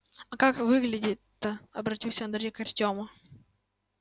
а как выглядит-то обратился андрей к артему